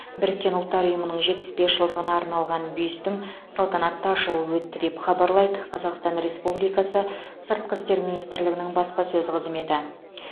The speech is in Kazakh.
біріккен ұлттар ұйымының жетпіс бес жылдығына арналған бюстің салтанатты ашылуы өтті деп хабарлайды қазақстан республикасы сыртқы істер министрігінің баспасөз қызметі